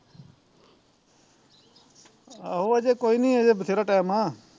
ਆਹੋ ਅਜੇ ਕੋਈ ਨੀ ਹਜੇ ਵਧੇਰਾ ਟੈਮ ਆ